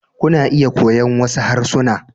Kuna iya koyon wasu harsuna.